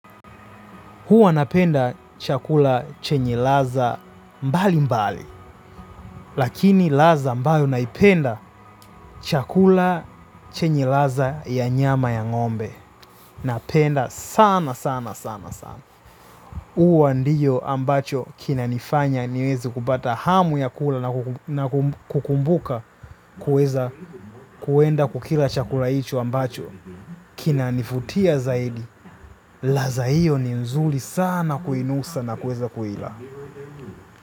Huwa napenda chakula chenye ladha mbalimbali, lakini ladha ambayo naipenda, chakula chenye ladha ya nyama ya ng'ombe. Napenda sana sana sana sana. Huwa ndio ambacho kinanifanya niweze kupata hamu ya kula na kukumbuka kuweza kuenda kukila chakula hicho ambacho. Kinanivutia zaidi, ladha hiyo ni nzuri sana kuinusa na kuweza kuila.